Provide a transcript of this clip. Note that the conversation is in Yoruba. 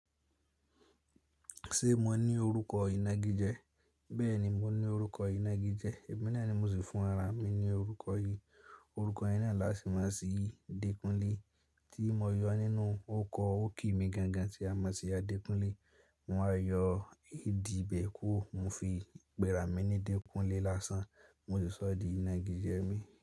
Ṣé mo ní orúkọ ìnagijẹ? Bẹ́ẹ̀ni, mo ní orúkọ ìnagijẹ. Èmi náà ni mo sì fún ara mi yí orúkọ yẹn naá là sì mo sí ì dékúnlé tí mo yọ nínú orúkọ oríkì mi gan gan tí a mọ̀ sí Adekunle. Mo wá yọ AD ibẹ̀ kúrò mo fi pẹ́ra mi ní Dékúnlé lásán mo sì sọ ọ́ di ìnagijẹ mi.